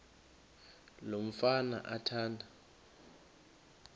lo mfana athanda